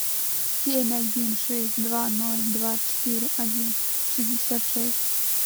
семь один шесть два ноль два четыре один шестьдесят шесть